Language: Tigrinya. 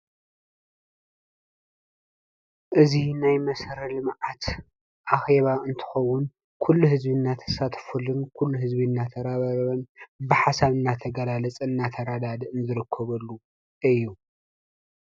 እዚ ናይ መሰረተ ልምዓት ኣኬባ እንትከውን ኩሉ ህዝቢ እናተሳተፈሉን ኩሉ ህዝቢ እናተረባረበሉን ብሓሳብ እናተገላለፀን እናተረዳድእን ዝርከበሉ እዩ፡፡